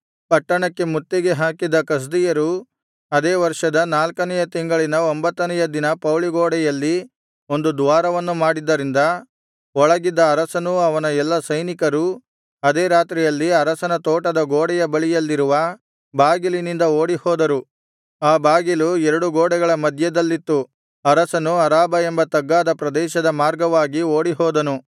ಪಟ್ಟಣಕ್ಕೆ ಮುತ್ತಿಗೆ ಹಾಕಿದ್ದ ಕಸ್ದೀಯರು ಅದೇ ವರ್ಷದ ನಾಲ್ಕನೆಯ ತಿಂಗಳಿನ ಒಂಭತ್ತನೆಯ ದಿನ ಪೌಳಿಗೋಡೆಯಲ್ಲಿ ಒಂದು ದ್ವಾರವನ್ನು ಮಾಡಿದ್ದರಿಂದ ಒಳಗಿದ್ದ ಅರಸನೂ ಅವನ ಎಲ್ಲಾ ಸೈನಿಕರೂ ಅದೇ ರಾತ್ರಿಯಲ್ಲಿ ಅರಸನ ತೋಟದ ಗೋಡೆಯ ಬಳಿಯಲ್ಲಿರುವ ಬಾಗಿಲಿನಿಂದ ಓಡಿಹೋದರು ಆ ಬಾಗಿಲು ಎರಡು ಗೋಡೆಗಳ ಮಧ್ಯದಲ್ಲಿತ್ತು ಅರಸನು ಅರಾಬಾ ಎಂಬ ತಗ್ಗಾದ ಪ್ರದೇಶದ ಮಾರ್ಗವಾಗಿ ಓಡಿಹೋದನು